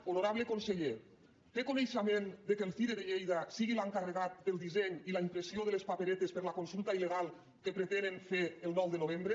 honorable conseller té coneixement que el cire de lleida sigui l’encarregat del disseny i la impressió de les paperetes per a la consulta il·legal que pretenen fer el nou de novembre